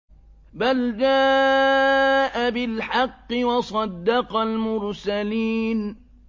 بَلْ جَاءَ بِالْحَقِّ وَصَدَّقَ الْمُرْسَلِينَ